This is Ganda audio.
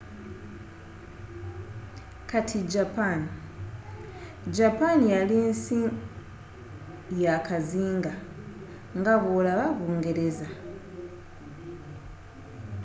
kati japan japan yali nsi ya kazinga nga bwolaba bungereza